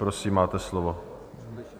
Prosím, máte slovo.